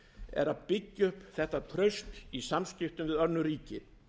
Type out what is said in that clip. er að byggja upp þetta traust í samskiptum við önnur ríki